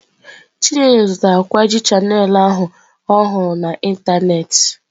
Chinelo zụtara kwaaji Channel ahụ ọ hụrụ na ịntanetị.